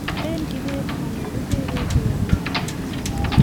lin kibet manyoru jebet ruondo ne yemei